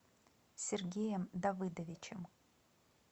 сергеем давыдовичем